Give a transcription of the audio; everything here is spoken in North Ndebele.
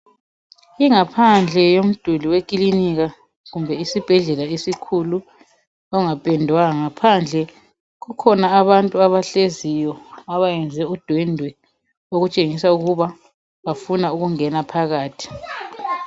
Ingaphandle yomduli wekilinika kumbe isibhedlela esikhulu ongapendwanga phandle kukhona abantu abahleziyo abayenze udwendwe okutshengisa ukuba bafuna ukungena phakathi.